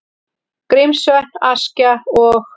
Grímsvötn, Askja og